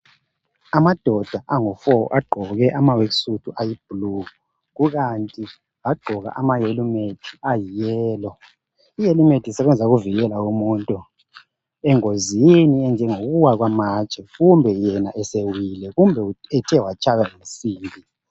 Amadoda angufo agqoke amawekisutu ayibhulu kukanti bagqoka amahelemeti ayiyelo. lhelemeti isebenza ukuvikela umuntu engozini enjenge kuwa kwamatshe kumbe yena esewile kumbe ethe watshaywa yinsimbi.